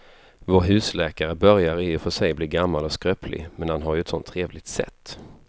Vår husläkare börjar i och för sig bli gammal och skröplig, men han har ju ett sådant trevligt sätt!